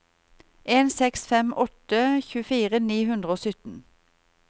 en seks fem åtte tjuefire ni hundre og sytten